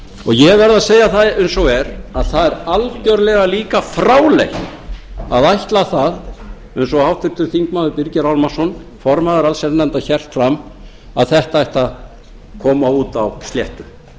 ég verð að segja það eins og er að það er algjörlega líka fráleitt að ætla það eins og háttvirtur þingmaður birgir ármannsson formaður allsherjarnefndar hélt fram að þetta ætti að koma út á sléttu